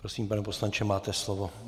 Prosím, pane poslanče, máte slovo.